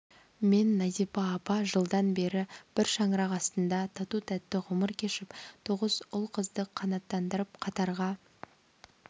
мен назипа апа жылдан бері бір шаңырақ астында тату-тәтті ғұмыр кешіп тоғыз ұл-қызды қанаттандырып қатарға